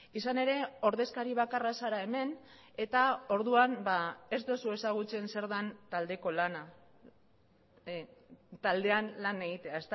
izan ere ordezkari bakarra zara hemen eta orduan ez duzu ezagutzen zer den taldeko lana taldean lan egitea